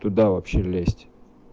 туда вообще лезть